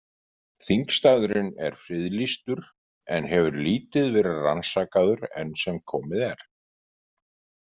Þingstaðurinn er friðlýstur en hefur lítið verið rannsakaður enn sem komið er.